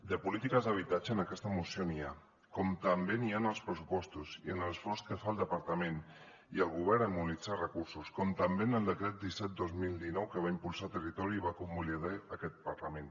de polítiques d’habitatge en aquesta moció n’hi ha com també n’hi ha en els pressupostos i en l’esforç que fa el departament i el govern en mobilitzar recursos com també en el decret disset dos mil dinou que va impulsar territori i va convalidar aquest parlament